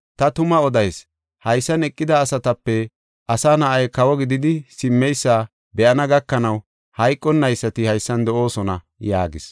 Ta tuma odayis; haysan eqida asatape Asa Na7ay kawo gididi simmeysa be7ana gakanaw hayqonnaysati haysan de7oosona” yaagis.